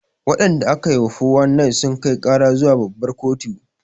Waɗanda aka yi wa 419 sun kai ƙara zuwa babbar kotu